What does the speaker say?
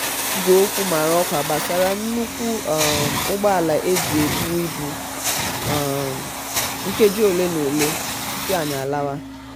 igwe okwu maraòkwa gbasara nnukwu um úgbòala eji um ebu ibu nkeji ole m'ole um tupu anyi lawa.